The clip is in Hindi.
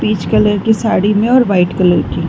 पिच कलर की साड़ी है और व्हाइट कलर --